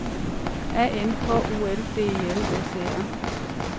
A N H O L D E L S E R